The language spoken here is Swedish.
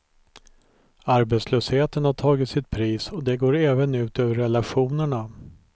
Arbetslösheten har tagit sitt pris och det går även ut över relationerna.